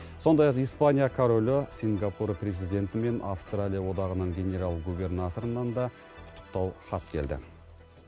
сондай ақ испания королі сингапур президенті мен австралия одағының генерал губернаторынан да құттықтау хат келді